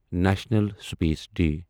national space day